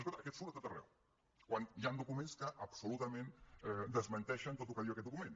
escolta aquest surt a tot arreu quan hi han documents que absolutament desmenteixen tot el que diu aquest document